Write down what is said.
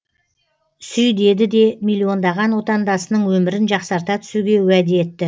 сүй деді де миллиондаған отандасының өмірін жақсарта түсуге уәде етті